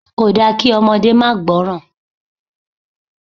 Kòda kí ọmọdé máa gbọ́ràn.